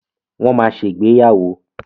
Wọ́n máa ṣègbéyàwó.